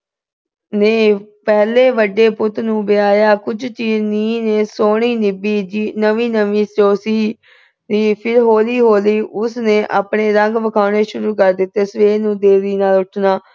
ਪਹਿਲਾਂ ਵੱਡੇ ਪੁੱਤ ਨੂੰ ਵਿਆਹੀਆਂ। ਕੁਝ ਚੀਰ ਸੋਹਣੀ ਨਿਭੀ। ਜੀ ਅਹ ਨਵੀਂ ਨਵੀਂ ਜੋ ਸੀ। ਫਿਰ ਹੌਲੀ-ਹੌਲੀ ਉਸਨੇ ਆਪਣੇ ਰੰਗ ਵਿਖਾਉਣੇ ਸ਼ੁਰੂ ਕਰ ਦਿੱਤੇ। ਸਵੇਰ ਨੂੰ ਦੇਰੀ ਨਾਲ ਉੱਠਣਾ।